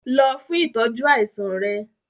Lọ fún ìtọ́jú àìsàn rẹ!